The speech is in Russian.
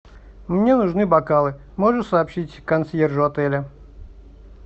мне нужны бокалы можно сообщить консьержу отеля